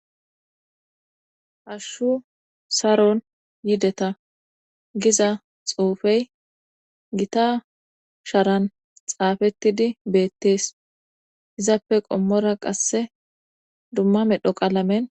Hashshu saron yideta giza xuufey gita sharan xaafettidi beettees izappe qommora qasse dumma medho qalamen..